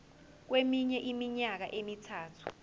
kweminye iminyaka emithathu